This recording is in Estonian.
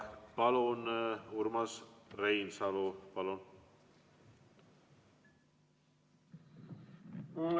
Urmas Reinsalu, palun!